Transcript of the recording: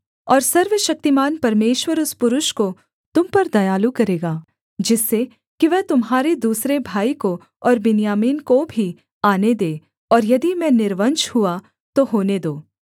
और सर्वशक्तिमान परमेश्वर उस पुरुष को तुम पर दयालु करेगा जिससे कि वह तुम्हारे दूसरे भाई को और बिन्यामीन को भी आने दे और यदि मैं निर्वंश हुआ तो होने दो